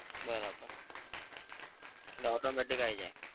બરોબર એટલે automatic આવી જાય?